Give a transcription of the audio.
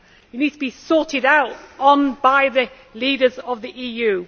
It needs to be sorted out by the leaders of the EU.